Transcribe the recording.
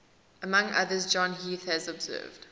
among others john heath has observed